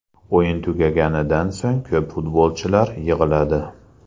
O‘yin tugaganidan so‘ng ko‘p futbolchilar yig‘ladi.